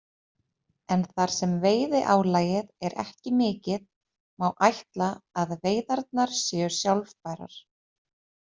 En þar sem veiðiálagið er ekki mikið má ætla að veiðarnar séu sjálfbærar.